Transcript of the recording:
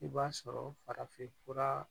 I b'a sɔrɔ farafinfura